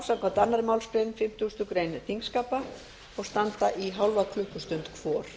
samkvæmt annarri málsgrein fimmtugustu grein þingskapa og standa í hálfa klukkustund hvor